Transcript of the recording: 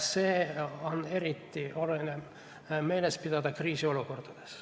Seda on eriti oluline meeles pidada kriisiolukordades.